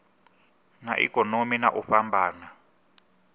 na ikonomi na u fhambana